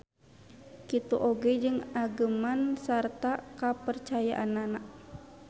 Kitu oge jeung ageman sarta kapercayaanana.